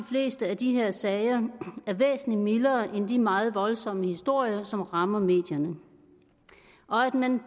fleste af de her sager er væsentlig mildere end de meget voldsomme historier som rammer medierne og at man